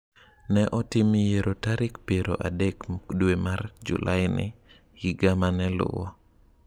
Ne otim yiero tarik piero adek dwe mar Julaini higa mane luwo.